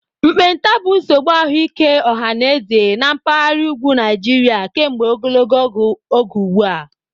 Mkpenta bụ nsogbu ahụike ọha na eze na mpaghara ugwu Nigeria kemgbe ogologo oge ugbu a.